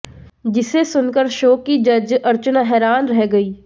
जिसे सुनकर शो की जज अर्चना हैरान रह गईं